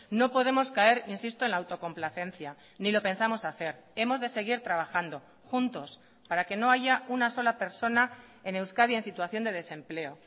no podemos caer insisto en la autocomplacencia ni lo pensamos hacer hemos de seguir trabajando juntos para que no haya una sola persona en euskadi en situación de desempleo